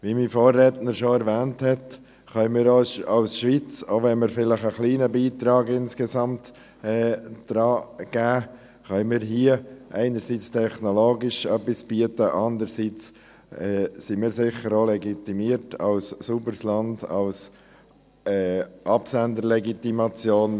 Wie mein Vorredner bereits erwähnt hat, können wir als Schweiz – auch wenn es nur ein kleiner Beitrag ist – einerseits technologisch etwas bieten, andererseits sind wir als sauberes Land auch dazu legitimiert.